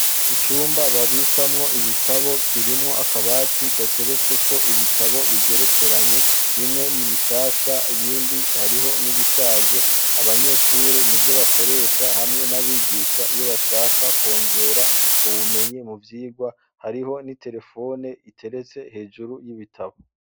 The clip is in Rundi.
Icumba babikamo ibitabo kirimwo akabati gateretseko ibitabo bigerekeranye, bimwe ni bishasha ibindi hariho n'ibishaje. Abanyeshure ni vyo bakoresha hamwe n'abigisha iyo bashaka kwongera ubumenyi mu vyigwa. Hariho n'iterefone iteretse hejuru y'ibitabo.